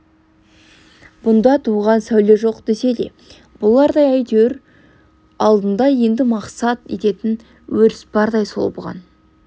бұнда туған сәуле жоқ десе де болардай әйтеуір алдында енді мақсат ететін өріс бардай сол бұған